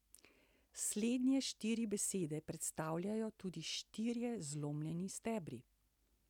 Slednje štiri besede predstavljajo tudi štirje zlomljeni stebri.